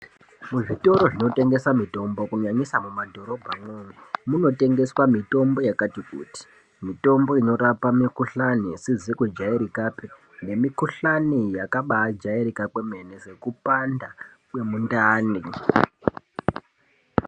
Muzvitoro zvinotengesa mitombo ,kunyanyanyisa mumadhorobha mwomwo ,munotengeswa mitombo yakati kuti ,mitombo inorapa mikohlani isizi kujairikapi nemikohlani yakabajairika kwemene nekupanda kwemindani.